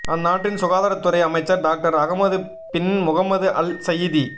அந்நாட்டின் சுகாதாரதுறை அமைச்சர் doctor Ahmed bin Mohammed Al Saeedi